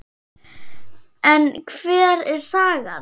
En hver er sagan?